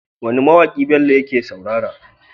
Wane ma waki Bello yake saurara?